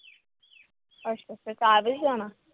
ਅੱਛਾ-ਅੱਛਾ ਚਾਰ ਵਜੇ ਜਾਣਾ।